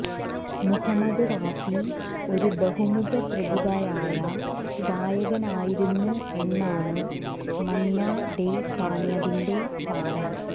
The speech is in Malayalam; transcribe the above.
മുഹമ്മദ് റാഫി ഒരു ബഹുമുഖ പ്രതിഭയായ ഗായകനായിരുന്നു എന്നാണ് മന്നാ ഡേ പറഞ്ഞതിന്റെ സാരം